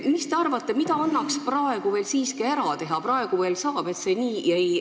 Mis te arvate, mida annaks praegu veel siiski ära teha, et see nii ei läheks?